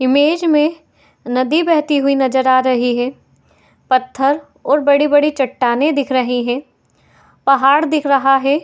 Image में नदी बहती हुई नजर आ रही है। पत्थर और बड़ी बड़ी चट्टानें दिख रहे है। पहाड़ दिख रहा है।